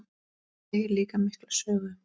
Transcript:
Það segir líka mikla sögu.